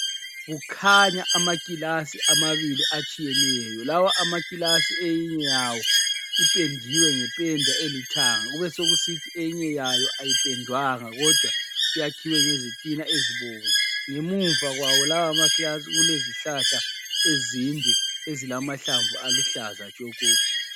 Kukhanya amakilasi amabili atshiyeneyo. Lawa amakilasi eyinye yawo ipendiwe ngependa elithanga kubesekusithi eyinye yayo ayipendwanga kodwa iyakhiwe ngezitina ezibomvu. Ngemuva kwawo lawa makilasi kulezihlahla ezinde ezilamahlamvu aluhlaza tshoko.